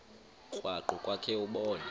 krwaqu kwakhe ubone